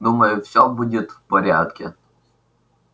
думаю всё будет в порядке